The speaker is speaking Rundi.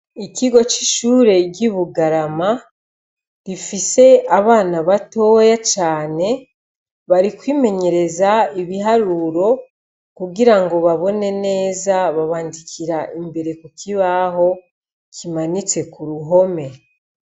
Ikigo c'ishure ry'i Bugarama, gifise abana batoya cane, bari kwimenyereza ibiharuro. Kugira ngo babone neza, babandikira imbere ku kibaho kimanitse k'uruhome.